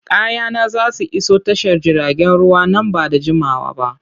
Kayana za su iso tashar jiragen ruwa nan ba da jimawa ba.